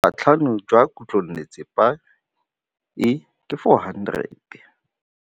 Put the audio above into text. Boatlhamô jwa khutlonnetsepa e, ke 400.